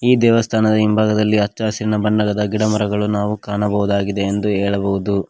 ಈ ದೇವಸ್ಥಾನದ ಹಿಂಭಾಗದಲ್ಲಿ ಅಚ್ಚ ಹಸಿರಿನ ಬಣ್ಣದ ಮರಗಳನ್ನು ನಾವು ಕಾಣಬಹುದಾಗಿದೆ ಎಂದು ಹೇಳಬಹುದು.